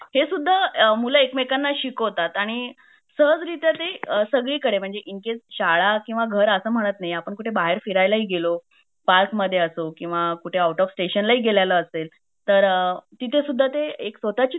हे सुद्धा मूल एकमेकाना शिकवतात आणि सहजरित्या ते सगळी कडे इनकेस शाळा किंवा घर असेल म्हणत नाही आपण कुठे बाहेर फिरायला गेलो पार्क मध्ये असो किंवा कुठे आउट ऑफ स्टेशन ला असेल तर तिथे सुद्धा एक स्वतची